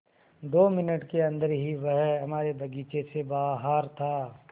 दो मिनट के अन्दर ही वह हमारे बगीचे से बाहर था